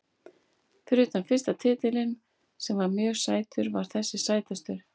Fyrir utan fyrsta titilinn sem var mjög sætur var þessi sætastur.